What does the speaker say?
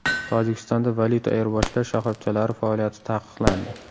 Tojikistonda valyuta ayirboshlash shoxobchalari faoliyati taqiqlandi.